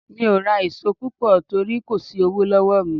Mi ò ra èso púpọ̀ torí kò sí owó lọ́wọ́ mi.